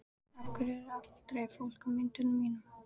Af hverju er aldrei fólk á myndunum þínum?